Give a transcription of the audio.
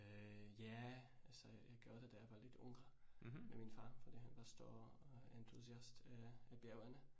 Øh ja altså jeg gjorde det, da jeg var lidt yngre med min far fordi han var stor øh entusiast øh i bjergene